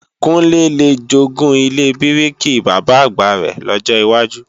Kúnlé le jogún ilé bíríkì Bàbá-àgbà rẹ̀ lọ́jọ wájú